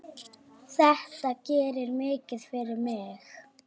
Þetta gerir mikið fyrir mig.